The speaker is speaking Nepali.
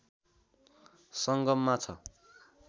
संगममा छ